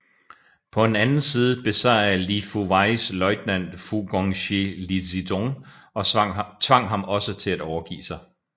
På en anden side besejrede Li Fuweis løjtnant Fu Gongshi Li Zitong og tvang ham til også at overgive sig